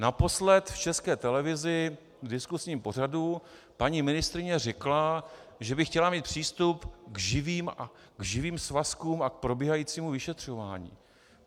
Naposled v České televizi v diskuzním pořadu paní ministryně řekla, že by chtěla mít přístup k živým svazkům a k probíhajícímu vyšetřování.